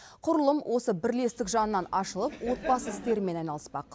құрылым осы бірлестік жанынан ашылып отбасы істерімен айналыспақ